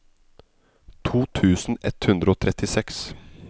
to tusen ett hundre og trettiseks